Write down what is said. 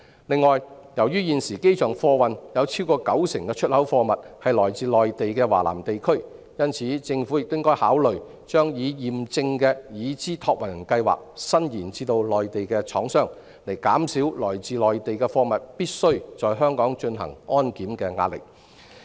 此外，由於現時機場貨運有超過九成的出口貨物來自內地華南地區，因此，政府亦應考慮把"已驗證的"已知託運人計劃伸延至內地廠商，以減少來自內地貨物必須在香港進行安檢的壓力。